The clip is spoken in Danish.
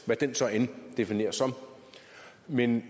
hvad den så end defineres som men